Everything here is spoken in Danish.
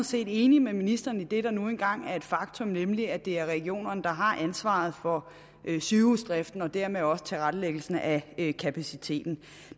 set enig med ministeren i det der nu engang er et faktum nemlig at det er regionerne der har ansvaret for sygehusdriften og dermed også tilrettelæggelsen af kapaciteten